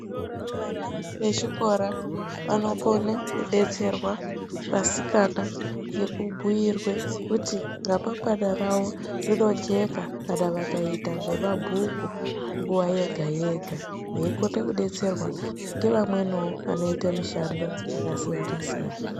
Vana vechikora vanokone kudetserwa vasikana ngekubhuyirwe kuti ramangwana rawo rinojeka kana vakaita zvemabhuku nguwa yega yega veikone kudetserwa ngevamweniwo vanoitale mishando yakasiyana siyana.